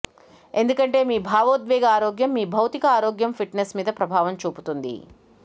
ఎందుకంటే మీ భావోద్వేగ ఆరోగ్యం మీ భౌతిక ఆరోగ్యం ఫిట్ నెస్ మీద ప్రభావం చూపుతుంది